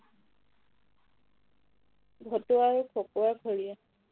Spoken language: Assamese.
ভতুৱা আৰু খকুৱাৰ খৰিয়াল